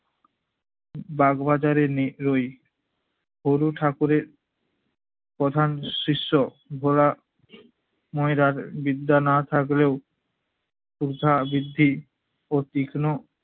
বাঘবাজারে নে রই হলু ঠাকুরের প্রধান শিষ্য ভোলা ময়রার বিদ্যা না থাকলেও মেধা বৃদ্ধি ও তীক্ষ্ণ